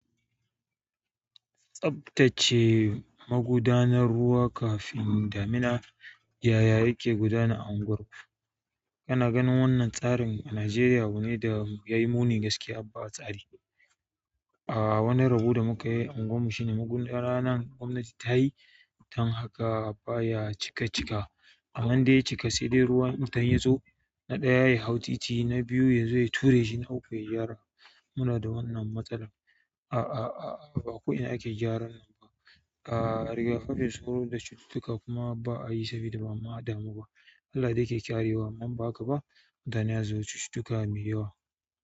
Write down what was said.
Tsaftace magudanar ruwa kafin damina ya ya yake gudana a unguwar ku. Kana ganin wannan tsarin a Najeriya abu ne da ya yi muni gaskiya ba tsari. A wani rabo da muka yi a unguwarmu shine magudana gwamnati ta yi don haka ba ya cika cika. Amman dai in ya cika sai dai in ruwan kwatan ya zo, na ɗaya ya hau titi, na biyu ya zo ya tureshi, na uku ya gyara. Muna da wannan matsala. A a a a ba ko ina ake gyaran nan ba. A rigakafin sauro da cututtuka kuma ba'a yi sabida ba'a adamu ba. Allah dai yake ƙarewa amma in ba haka ba, mutane za su zo suyi cututtuka mai yawa.